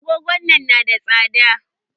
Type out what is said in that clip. Agogon nan na da tsada?